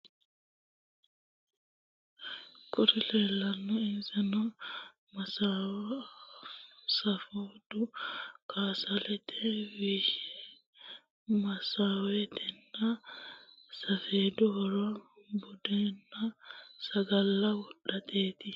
Kuri leellanno insano massowe, safedu, kasalete wilishanchina woleno konne lawannorire ikkanna, tini baseno insa daddalanni baseti. masowetenna safeedu horo buddenanna sagalla wodhateeti.